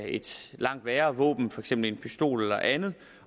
et langt værre våben for eksempel en pistol eller andet